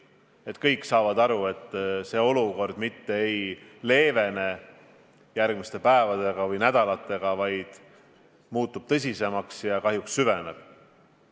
Kõik saavad aru, et see olukord mitte ei leevene järgmiste päevade või nädalatega, vaid muutub tõsisemaks ja kahjuks süveneb.